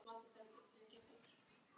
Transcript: Svona lítur þetta þá út.